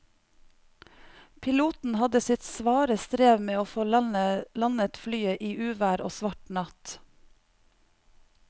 Piloten hadde sitt svare strev med å få landet flyet i uvær og svart natt.